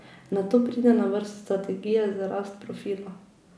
Nato pride na vrsto strategija za rast profila.